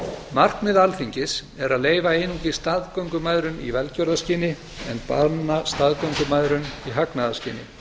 markmið alþingis er að leyfa einungis staðgöngumæðrun í velgjörðarskyni en banna staðgöngumæðrun í hagnaðarskyni